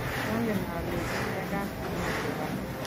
kiangen ale ki mekat amite gaa